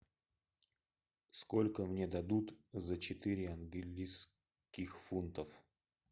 сколько мне дадут за четыре английских фунтов